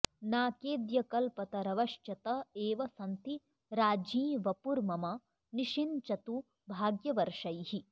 नाकेऽद्य कल्पतरवश्च त एव सन्ति राज्ञी वपुर्मम निषिञ्चतु भाग्यवर्षैः